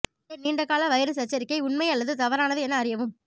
இந்த நீண்டகால வைரஸ் எச்சரிக்கை உண்மை அல்லது தவறானது என அறியவும்